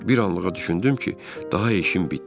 Bir anlığa düşündüm ki, daha işim bitdi.